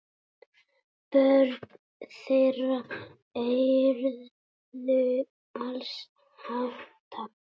Börn þeirra urðu alls átta.